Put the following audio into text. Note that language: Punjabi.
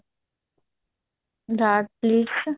dot plates